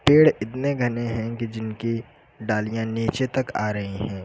पेड़ इतने घने हैं कि जिनकी डालियां नीचे तक आ रही हैं।